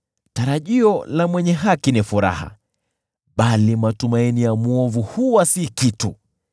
Tarajio la mwenye haki ni furaha, bali matumaini ya mwovu huwa si kitu.